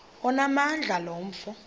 onamandla lo mfo